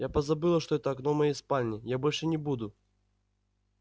я позабыла что это окно моей спальни я больше не буду